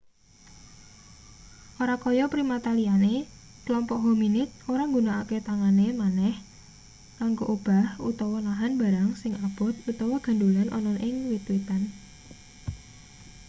ora kaya primata liyane klompok hominid ora nggunakake tangane maneh kanggo obah utawa nahan barang sing abot utawa gandhulan ana ning wit-witan